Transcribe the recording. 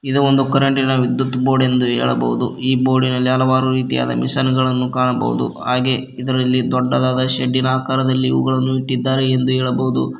ಇದು ಒಂದು ಕರೆಂಟಿನ ವಿದ್ಯುತ್ ಬೋರ್ಡ್ ಎಂದು ಹೇಳಬಹುದು ಈ ಬೋರ್ಡಿನಲ್ಲಿ ಹಲವಾರು ರೀತಿಯಾದ ಮಷೀನ್ ಗಳನ್ನು ಕಾಣಬಹುದು ಹಾಗೆ ಇದರಲ್ಲಿ ದೊಡ್ಡದಾದ ಶೇಡಿನ ಆಕಾರದಲ್ಲಿ ಇವುಗಳನ್ನು ಇಟ್ಟಿದ್ದಾರೆ ಎಂದು ಹೇಳಬಹುದು.